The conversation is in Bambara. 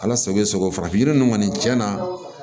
Ala sago i bɛ s'o farafin yiri ninnu kɔni cɛn na